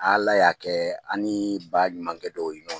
Ala y'a kɛ aniii ba ɲumankɛ dɔw